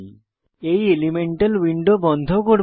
এই elemental window বন্ধ করব